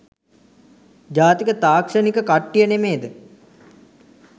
ජාතික තාක්ෂණික කට්ටිය නෙමේද?